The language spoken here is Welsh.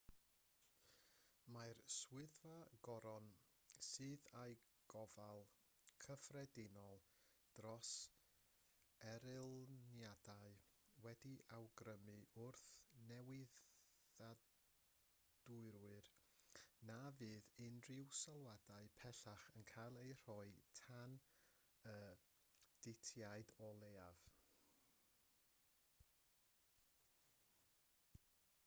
mae swyddfa'r goron sydd â gofal cyffredinol dros erlyniadau wedi awgrymu wrth newyddiadurwyr na fydd unrhyw sylwadau pellach yn cael eu rhoi tan y ditiad o leiaf